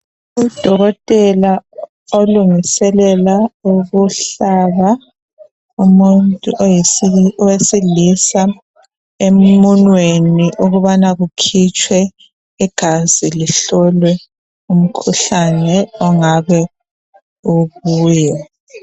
Udokotela olungiselela ukuhlaba umuntu owesilisa emunweni ukubana kukhutshwe igazi lihlolwe umkhuhlane ongabe ukuye